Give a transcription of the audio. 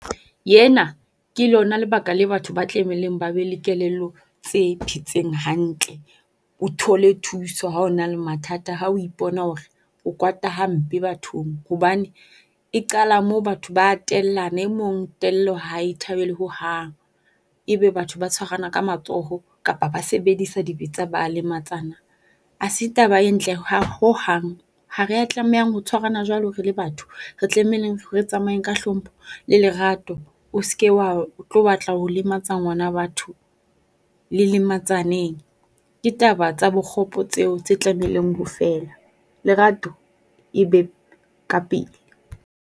Yena ke lona lebaka le batho ba tlameileng ba be le kelello tse phetseng hantle. O thole thuso ha o na le mathata, ha o ipona hore o kwata hampe bathong. Hobane e qala mo batho ba tellana. E mong tello ha e thabele hohang. E be batho ba tshwarana ka matsoho kapa ba sebedisa dibetsa ba lematsana. Ha se taba e ntle ho hang. Ha rea tlamehang ho tshwaranang jwalo re le batho. Re tlameleng re tsamayeng ka hlompho le lerato, o se ke wa tlo batla ho lematsa ngwana batho, le lematsaneng. Ke taba tsa bokgopo tseo tse tlameileng ho fela. Lerato le be ka pele.